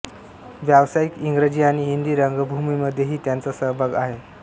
व्यावसायिक इंग्रजी आणि हिंदी रंगभूमीमध्येही त्यांचा सहभाग आहे